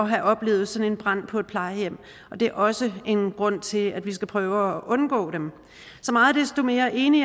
have oplevet sådan en brand på et plejehjem og det er også en grund til at vi skal prøve at undgå dem så meget desto mere enig